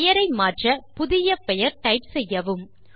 பெயரை மாற்ற புதிய பெயர் டைப் செய்யவும்